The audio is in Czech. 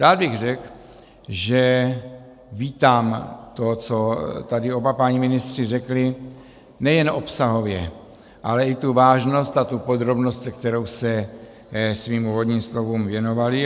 Dále bych řekl, že vítám to, co tady oba páni ministři řekli nejen obsahově, ale i tu vážnost a tu podrobnost, se kterou se svým úvodním slovům věnovali.